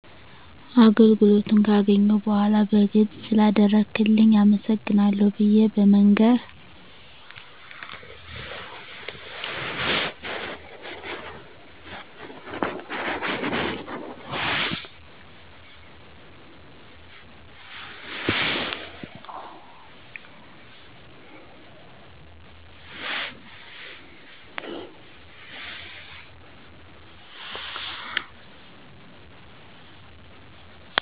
አገልግሎቱን ገካገኘሁ በዃላ በግልጽ ስለአደረክልኝ አመሰግናለሁ ብየ በመንገር